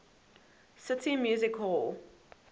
city music hall